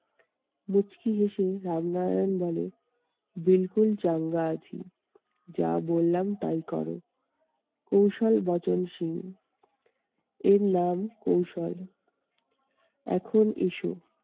মুচকি হেঁসে রামনারায়ণ বলে চাঙ্গা আছি। যা বললাম তাই করো কৌশল বচনসুর এর নাম কৌশল। এখন এসো